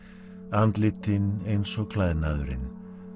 andlitin eins og klæðnaðurinn